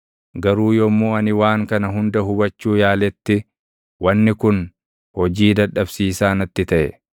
Garuu yommuu ani waan kana hunda hubachuu yaaletti, wanni kun hojii dadhabsiisaa natti taʼe.